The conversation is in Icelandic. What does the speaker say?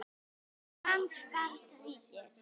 Ef. lands barns ríkis